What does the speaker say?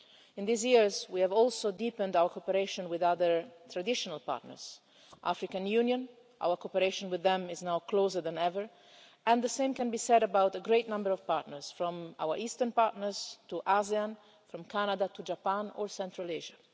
In these years, we have also deepened our cooperation with other traditional partners the African Union our cooperation with them is now closer than ever and the same can be said about a great number of partners, from our eastern partners to ASEAN, and from Canada to Japan or Central Asia.